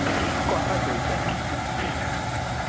কথা চলছে আরকি